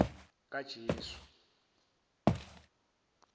kajesu